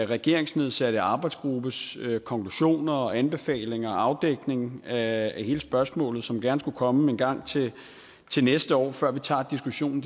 regeringsnedsatte arbejdsgruppes konklusioner og anbefalinger og afdækning af hele spørgsmålet som gerne skulle komme engang til næste år før vi tager diskussionen